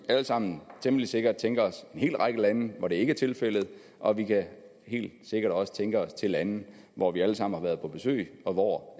alle sammen temmelig sikkert tænke os til hel række lande hvor det ikke er tilfældet og vi kan helt sikkert også tænke os til lande hvor vi alle sammen har været på besøg og hvor